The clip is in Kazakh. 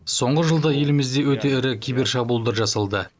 соңғы жылда елімізде өте ірі кибершабуылдар жасалды